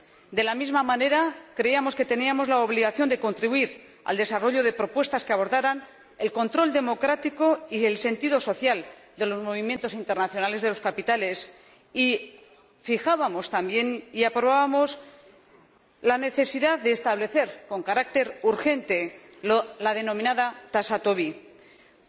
De la misma manera, creíamos que teníamos la obligación de contribuir al desarrollo de propuestas que abordaran el control democrático y el sentido social de los movimientos internacionales de capitales y fijábamos también y aprobábamos la necesidad de establecer con carácter urgente la denominada tasa Tobin, una